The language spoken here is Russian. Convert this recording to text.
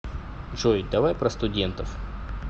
джой давай про студентов